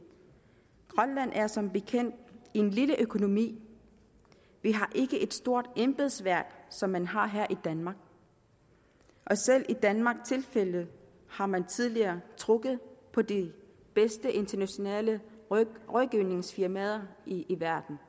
grønland er som bekendt en lille økonomi vi har ikke et stort embedsværk som man har her i danmark selv i danmarks tilfælde har man tidligere trukket på de bedste internationale rådgivningsfirmaer i verden